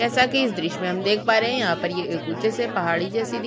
जैसा की इस द्र्श्य में हम देख पा रहे है यहाँ पर ये ऊंचे से पहाड़ी जैसी दिख--